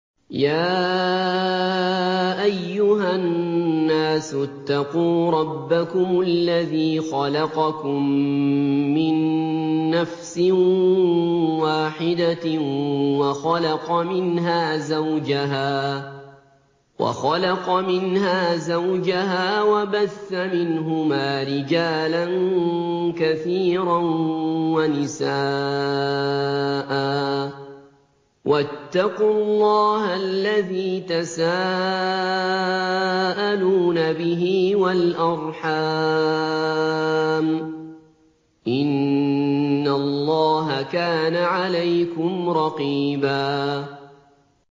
يَا أَيُّهَا النَّاسُ اتَّقُوا رَبَّكُمُ الَّذِي خَلَقَكُم مِّن نَّفْسٍ وَاحِدَةٍ وَخَلَقَ مِنْهَا زَوْجَهَا وَبَثَّ مِنْهُمَا رِجَالًا كَثِيرًا وَنِسَاءً ۚ وَاتَّقُوا اللَّهَ الَّذِي تَسَاءَلُونَ بِهِ وَالْأَرْحَامَ ۚ إِنَّ اللَّهَ كَانَ عَلَيْكُمْ رَقِيبًا